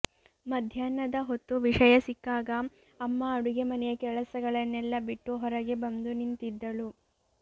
ಮಧ್ಯಾಹ್ನದ ಹೊತ್ತು ವಿಷಯ ಸಿಕ್ಕಾಗ ಅಮ್ಮ ಅಡುಗೆ ಮನೆಯ ಕೆಲಸಗಳನ್ನೆಲ್ಲ ಬಿಟ್ಟು ಹೊರಗೆ ಬಂದು ನಿಂತಿದ್ದಳು